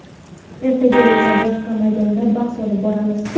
Ertaga esa boshqa maydonda bahs olib boramiz.